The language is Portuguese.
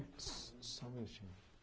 Só só um minutinho.